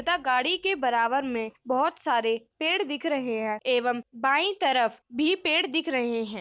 तथा गाडी के बराबर में बहुत सारे पेड़ दिख रहे है एवं बाई तरफ भी पेड़ दिख रहे है।